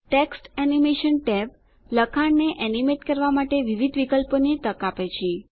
text animation tab લખાણને animate કરવાં માટે વિવિધ વિકલ્પોની તક આપે છે